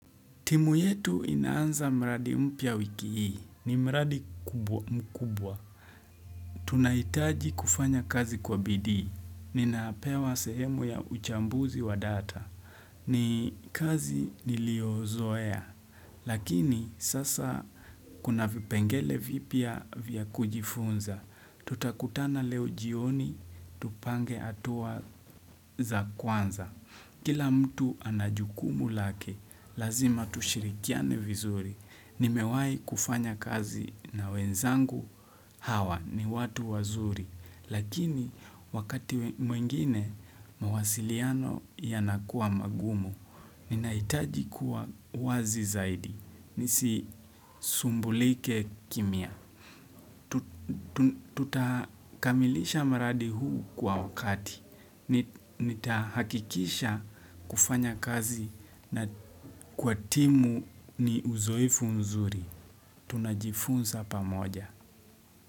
Timu yetu inaanza mradi mpya wiki hii. Ni mradi mkubwa. Tunaitaji kufanya kazi kwa BD. Ninapewa sehemu ya uchambuzi wa data. Ni kazi niliozoea. Lakini sasa kuna vipengele vipya vya kujifunza. Tutakutana leo jioni, tupange atuwa za kwanza. Kila mtu ana jukumu lake, lazima tushirikiane vizuri. Nimewai kufanya kazi na wenzangu hawa ni watu wazuri. Lakini wakati mwingine, mawasiliano yanakuwa magumu. Ninahitaji kuwa wazi zaidi. Nisi sumbulike kimya. Tutakamilisha maradi huu kwa wakati Nitahakikisha kufanya kazi na kwa timu ni uzoefu mzuri Tunajifunza pa moja.